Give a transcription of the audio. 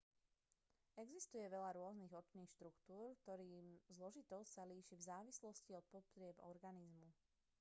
existuje veľa rôznych očných štruktúr ktorých zložitosť sa líši v závislosti od potrieb organizmu